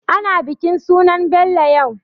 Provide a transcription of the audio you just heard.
Ana bikin sunan Bello yau.